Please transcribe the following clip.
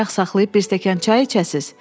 Bəlkə ayaq saxlayıb bir stəkan çay içəsiz?